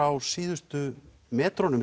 á síðustu metrunum